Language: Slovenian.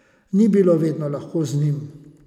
Ni bilo vedno lahko z njim.